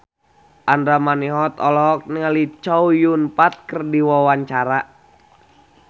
Andra Manihot olohok ningali Chow Yun Fat keur diwawancara